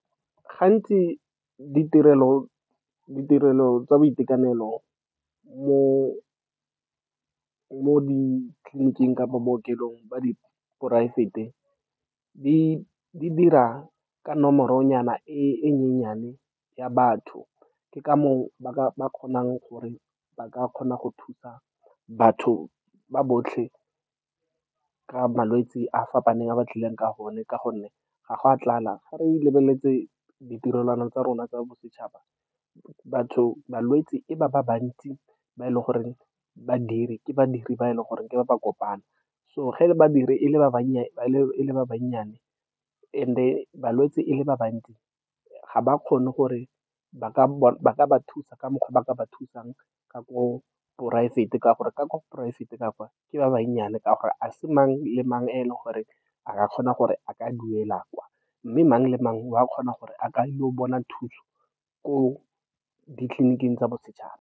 Gantsi ditirelo tsa boitekanelo mo ditleliniking kapa bookelong ba di poraefete di dira ka nomoronyana e nyenyane ya batho. Ke ka moo ba kgonang gore ba ka kgona go thusa batho ba botlhe ka malwetse a fapaneng a ba tlileng ka one, ka gonne ga go a tlala. Ga re lebeletse ditirelwana tsa rona tsa bosetšhaba, batho, balwetse e ba bantsi ba e leng gore badiri ke badiri ba e leng gore ke ba ba kopana. So ge e le badiri e le ba ba nnye, and-e balwetse e le ba bantsi, ga ba kgone gore ba ka ba thusa ka mokgwa o ba ka ba thusang ka ko poraefete, ka gore ka ko poraefete ka kwa ke ba ba nnye ka gore ga se mang le mang o e leng gore a ka kgona gore a ka duela kwa, mme mang le mang wa kgona gore a ka ile go bona thuso ko ditleliniking tsa bosetšhaba.